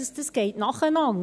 Dies geschieht nacheinander.